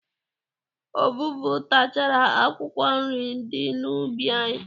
Ọvụvụ tachara akwụkwọ nri di n'ubi anyị.